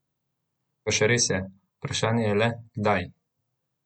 Pa še res je, vprašanje je le, kdaj?